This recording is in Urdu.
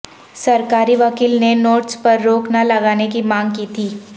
سرکاری وکیل نے نوٹس پر روک نہ لگانے کی مانگ کی تھی